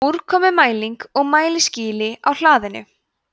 úrkomumælir og mælaskýli á hlaðinu